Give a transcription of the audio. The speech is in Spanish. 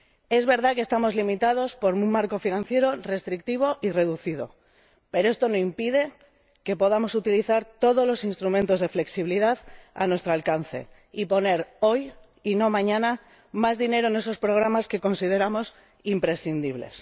Es verdad que estamos limitados por un marco financiero restrictivo y reducido, pero esto no impide que podamos utilizar todos los instrumentos de flexibilidad a nuestro alcance y poner hoy —y no mañana— más dinero en esos programas que consideramos imprescindibles.